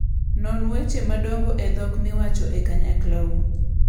Non weche madongo e dhok miwacho e kanyaklau.